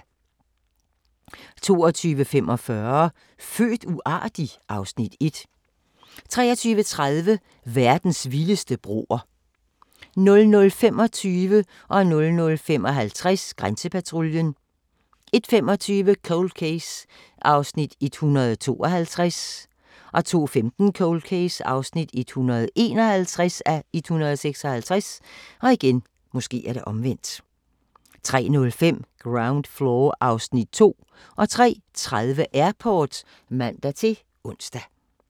22:45: Født uartig? (Afs. 1) 23:30: Verdens vildeste broer 00:25: Grænsepatruljen 00:55: Grænsepatruljen 01:25: Cold Case (152:156) 02:15: Cold Case (151:156) 03:05: Ground Floor (Afs. 2) 03:30: Airport (man-ons)